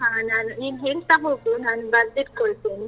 ಹಾ ನಾನು ನೀನು ಹೇಳ್ತಾ ಹೋಗು ನಾನು ಬರ್ದಿಟ್ಕೊಳ್ತೇನೆ.